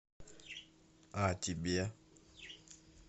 а тебе